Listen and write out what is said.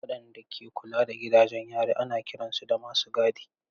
Waɗanda ke kula da gidajen yari ana kiransu da masu gadi.